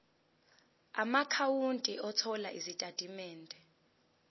amaakhawunti othola izitatimende